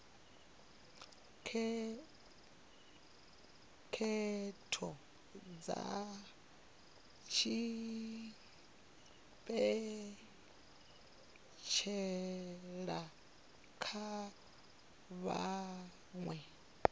khetho dza tshipentshela kha vhaṅwe